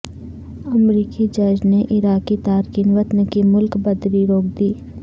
امریکی جج نے عراقی تارکین وطن کی ملک بدری روک دی